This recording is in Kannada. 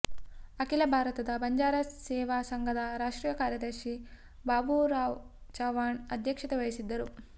ಅಖಿಲ ಭಾರತ ಬಂಜಾರ ಸೇವಾ ಸಂಘದ ರಾಷ್ಟ್ರೀಯ ಕಾರ್ಯದರ್ಶಿ ಬಾಬುರಾವ ಚವಾಣ್ ಅಧ್ಯಕ್ಷತೆ ವಹಿಸಿದ್ದರು